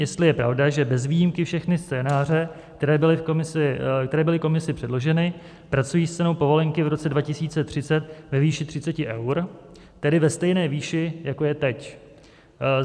Jestli je pravda, že bez výjimky všechny scénáře, které byly komisi předloženy, pracují s cenou povolenky v roce 2030 ve výši 30 eur, tedy ve stejné výši, jako je teď.